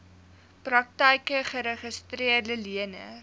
praktyke geregistreede leners